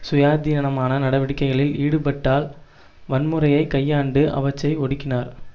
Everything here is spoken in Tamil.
சுயாதீனமான நடவடிக்கைகளில் ஈடுபட்டால் வன்முறையை கையாண்டு அவற்றை ஒடுக்கினார்